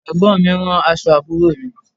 Ẹ̀gbọ́n mi ń rán aṣọ àbúrò mi